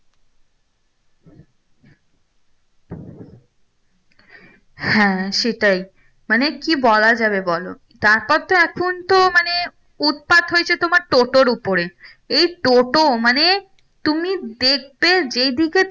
হ্যাঁ সেটাই মানে কি বলা যাবে বলো তারপর তো এখন তো মানে উৎপাত হয়েছে তোমার টোটোর উপরে এই টোটো মানে তুমি দেখবে যেদিকে তুমি